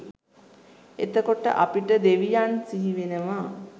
එතකොට අපිට දෙවියන් සිහි වෙනවා